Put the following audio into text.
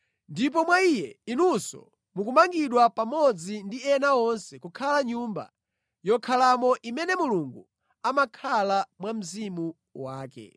Ndipo mwa Iye, inunso mukamangidwa pamodzi ndi ena onse kukhala nyumba yokhalamo imene Mulungu amakhala mwa Mzimu wake.